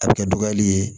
A bɛ kɛ dɔgɔyali ye